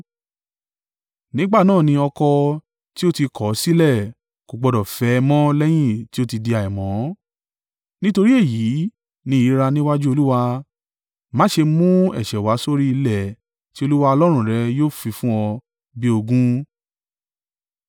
nígbà náà ni ọkọ, tí ó ti kọ̀ ọ́ sílẹ̀, kò gbọdọ̀ fẹ́ ẹ mọ́ lẹ́yìn tí ó ti di àìmọ́. Nítorí èyí ni ìríra níwájú Olúwa. Má ṣe mú ẹ̀ṣẹ̀ wá sórí ilẹ̀ tí Olúwa Ọlọ́run rẹ yóò fi fún ọ bí ogún.